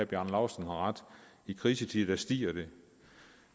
bjarne laustsen har ret i krisetider stiger det